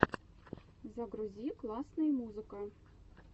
загрузи классные музыка